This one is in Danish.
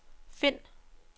find